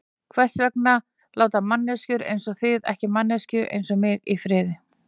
Hvers vegna láta manneskjur einsog þið ekki manneskju einsog mig í friði?